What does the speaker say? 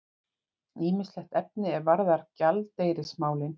Ýmislegt efni er varðar gjaldeyrismálin.